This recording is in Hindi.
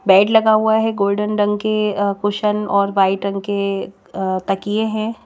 बेड लगा हुआ है गोल्डन रंग के अ कुशन और वाइट रंग के तकिए हैं।